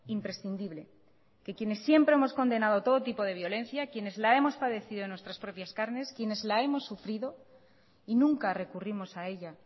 imprescindible que quienes siempre hemos condenado todo tipo de violencia quienes la hemos padecido en nuestras propias carnes quienes la hemos sufrido y nunca recurrimos a ella